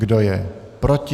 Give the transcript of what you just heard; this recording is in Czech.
Kdo je proti?